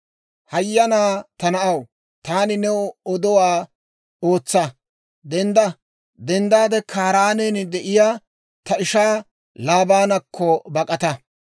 Hayyanaa ta na'aw, taani new odowaa ootsa. Dendda! Kaaraanen de'iyaa ta ishaa Laabaanakko bak'ata!